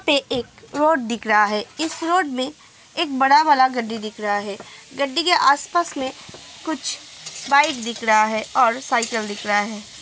पे एक रोड दिख रहा है। इस रोड में एक बड़ा वाला गड्डी दिख रहा है। गड्डी के आसपास में कुछ बाइक दिख रहा है और साइकिल दिख रहा है।